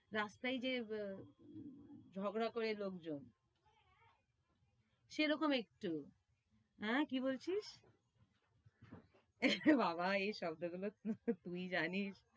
রাস্তায় যে ঝগড়া করে লোকজন, সে রকম একটু। অ্যা কি বলছিস? এহে বাবা এই শব্দগুলো তু তু তুই জানিস।